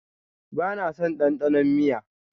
Ba na son dandanon miya.